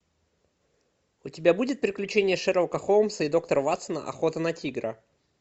у тебя будет приключения шерлока холмса и доктора ватсона охота на тигра